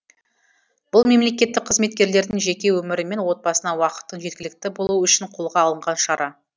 бұл мемлекеттік қызметкерлердің жеке өмірі мен отбасына уақыттың жеткілікті болуы үшін қолға алынған шара